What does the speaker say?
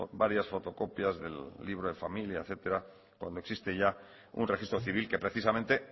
varias fotocopias del libro de familia etcétera cuando existe ya un registro civil que precisamente